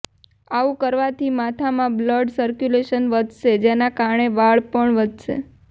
આવું કરવાથી માથામાં બ્લડ સર્ક્યુલેશન વધશે જેના કારણે વાળ પણ વધશે